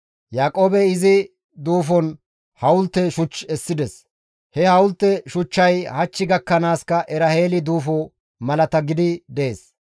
Yaaqoobey izi duufon hawulte shuch essides; he hawulte shuchchay hach gakkanaaska Eraheeli duufo malata gidi dees.